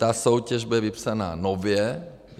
Ta soutěž bude vypsaná nově.